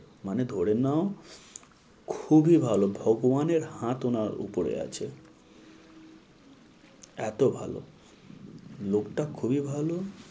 মানে ধরে নাও খুবই ভালো ভগবানের হাত ওনার উপরে আছে। এত ভালো, লোকটা খুবই ভালো,